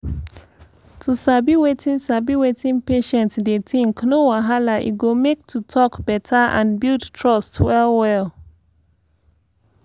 to sabi wetin sabi wetin patient dey think no wahala e go make to talk better and build trust well well.